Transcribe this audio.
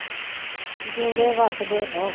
ਜਿਉਂਦੇ ਵਸਦੇ ਰਹੋ